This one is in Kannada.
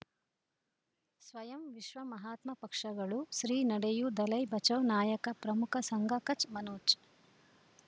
ಸ್ವಯಂ ವಿಶ್ವ ಮಹಾತ್ಮ ಪಕ್ಷಗಳು ಶ್ರೀ ನಡೆಯೂ ದಲೈ ಬಚೌ ನಾಯಕ ಪ್ರಮುಖ ಸಂಘ ಕಚ್ ಮನೋಜ್